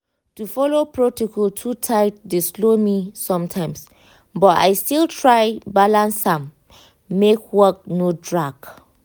to follow protocol too tight dey slow me sometimes but i still try balance am make work no drag.